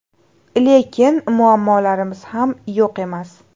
Lekin muammolarimiz ham yo‘q emas.